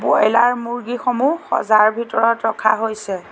Broiler মূৰ্গী সমূহ সজাৰ ভিতৰত ৰখা হৈছে।